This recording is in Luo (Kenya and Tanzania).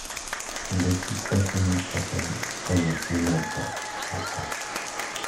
Kendo chik wacho ni kata ka nyathino otho oko,